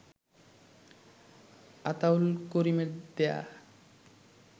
আতাউল করিমের দেয়া